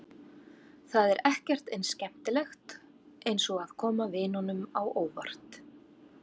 Það er ekkert eins skemmtilegt eins og að koma vinunum á óvart.